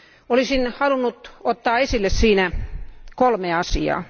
Olisin halunnut ottaa esille siinä kolme asiaa.